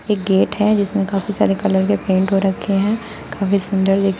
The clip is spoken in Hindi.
एक गेट है जिसमें काफी सारे कलर के पेंट हो रखे हैं काफी सुंदर--